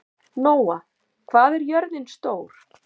Nóa, hvað er jörðin stór?